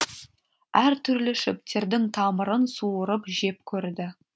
әр түрлі шөптердің тамырын суырып жеп көрді